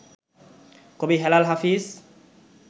কবি হেলাল হাফিজ